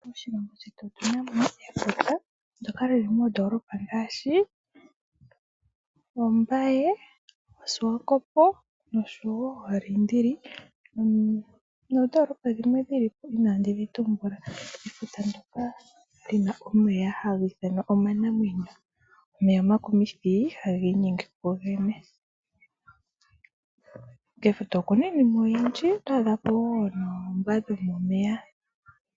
Moshilongo shetu otuna mo efuta ndjoka lili moondoolopa ngaashi Ombaye, oSwakopo noshowo Oliindili noodolopa dhimwe inaandi dhi tumbula. Efuta ndjoka lina omeya haga ithanwa omanamwenyo. Omeya omakumithi haga inyenge kugogene, kefuta okuna iinima oyindji oto adha ko woo noombwa dhomomeya.